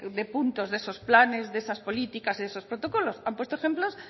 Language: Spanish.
de puntos de esos planes de esas políticas de esos protocolos han puesto ejemplos